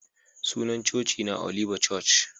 Sunan coci na Oliba coc.